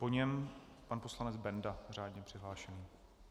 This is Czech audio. Po něm pan poslanec Benda, řádně přihlášený.